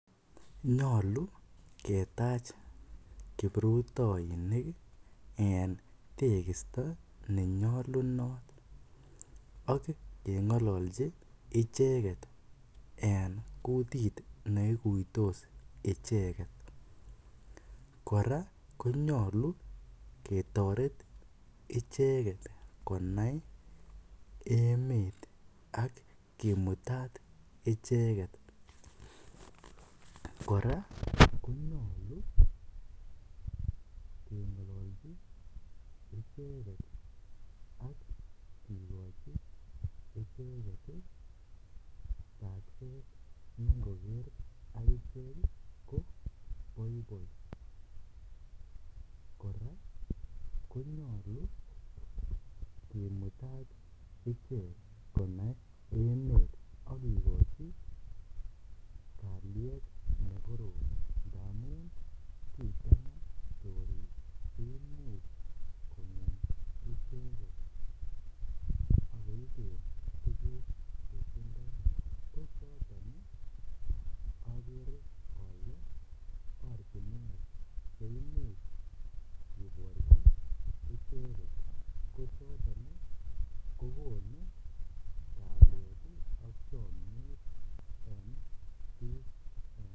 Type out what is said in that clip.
Nyolu ketach kiprutoinik en tekisto nenyolunot ak kengololchi icheket en kutit neikuitos icheket, kora konyolu ketoret icheket konai emet ak kimutat icheket, kora konyolu kengololchi icheket ak kikochi icheket tokset nengoker akichek ko boiboi, kora konyolu kimutat ichek konai emet ak kikochi kaliet nekorom ngamun kichanga choriik emet kongem icheket ak koiben tukuk chetindo ko choton akere olee ortinwek cheimuch kiborchi icheket, ko choton kokonu kaliet ak chomiet en biik.